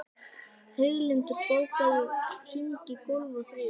Heiðlindur, bókaðu hring í golf á þriðjudaginn.